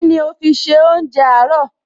Kíni o fi ṣe oúnjẹ àárọ̀?